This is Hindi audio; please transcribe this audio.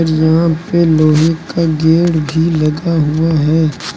यहां पे लोहे का गेट भी लगा हुआ है।